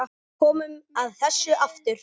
Við komum að þessu aftur.